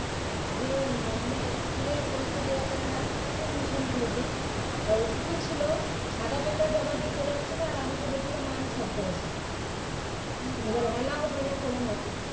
ওকে মানে স্কুলে পরীক্ষা দেওয়া করালাম সেই তোমার মিশনগুলোতে তা উচিতও ছিল সাদা paper জমা দিয়ে চলে আসছিল আর আমাকে বলেছিল মা আমি সব করেছি এবার allow হয় না কোনও মতেই